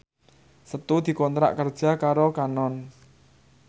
Setu dikontrak kerja karo Canon